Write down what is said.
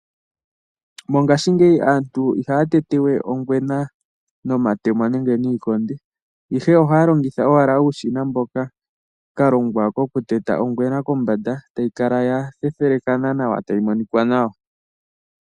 Mongashingeyi aantu ihaya tete we ongwena nomatemo nenge niikonde, ihe ohaya longitha owala okashina hoka ka longwa kokuteta ongwena kombanda e tayi kala ya thethelekana nawa, tayi monika nawa.